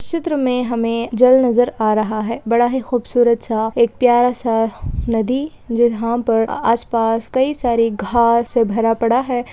इस चित्र मे हमे जल नजर आ रहा है बड़ा ही खूब सूरत सा एक प्यारा सा नदी जो यहाँ पर आसपास कई सारे घास से भरा पड़ा है।